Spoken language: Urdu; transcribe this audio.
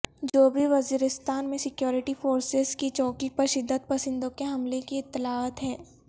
جوبی وزیرستان میں سکیورٹی فورسز کی چوکی پر شدت پسندوں کے حملے کی اطلاعات ہیں